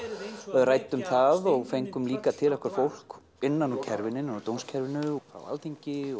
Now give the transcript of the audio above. ræddum það og fengum líka til okkar fólk innan úr innan úr dómskerfinu frá Alþingi